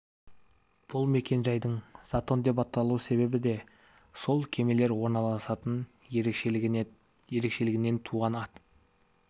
бұл мекен-жайдың затон деп аталу себебі де сол кемелер орналасатын ерекшелігінен туған ат